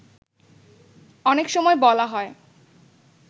অনেক সময় বলা হয়